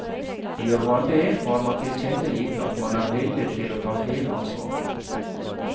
Gjør man det, har man tilkjennegitt at man er villig til å ta hele ansvaret.